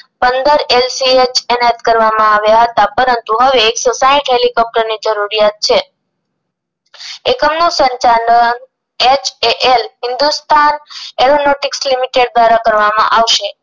પંદર L C H તેનાયત કરવામાં આવ્યા હતા પરંતુ હવે એકસો સાઈઠ હેલીકોપ્ટર ની જરૂરિયાત છે એકમ નું સંચાલન H A L Hindustan aelonotics limited દ્વારા કરવામાં આવશે